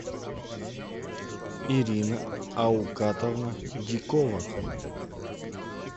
ирина аукатовна дикова